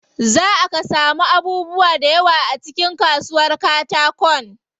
Zaa ka samu abubuwa da yawa a cikin kasuwar katakon.